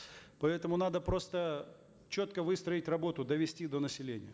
поэтому надо просто четко выстроить работу довести до населения